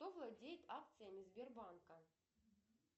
кто владеет акциями сбербанка